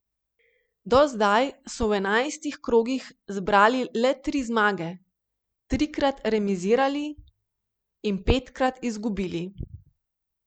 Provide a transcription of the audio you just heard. Do zdaj so v enajstih krogih zbrali le tri zmage, trikrat remizirali in petkrat izgubili.